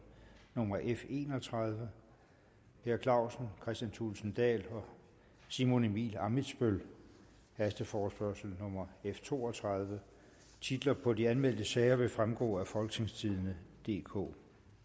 nummer f en og tredive per clausen kristian thulesen dahl og simon emil ammitzbøll hasteforespørgsel nummer f to og tredive titler på de anmeldte sager vil fremgå af folketingstidende DK